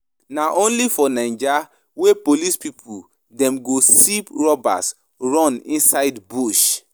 Na only for naija wey police pipu dem go see robbers run inside bush.